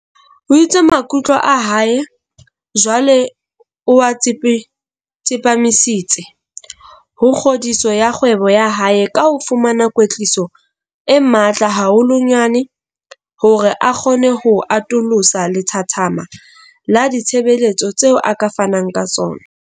O itse maikutlo a hae jwale o a tsepamisitse ho kgodiso ya kgwebo ya hae ka ho fumana kwetliso e matla haholwanyane hore a kgone ho atolosa lethathama la ditshebeletso tseo a ka fanang ka tsona.